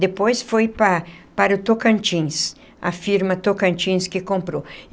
Depois foi para para o Tocantins, a firma Tocantins que comprou.